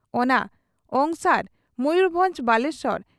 ᱚᱱᱟ ᱚᱝᱥᱟᱨ ᱢᱚᱭᱩᱨᱵᱷᱚᱸᱡᱽ ᱵᱟᱞᱮᱥᱚᱨ